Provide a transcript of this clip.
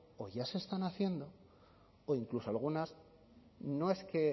o ya se están haciendo o incluso algunas no es que